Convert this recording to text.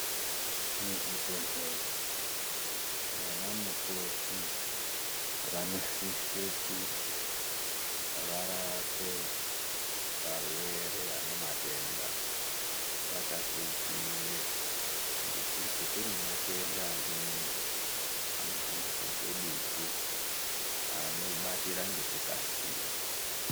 Muzvibhedhlera vana mukoti vanosise kuti varape varwere vane matenda. Vakazvidzivirira ngekuti kune matenda amweni anohambiswa ngedutu anobatira ngekukasira.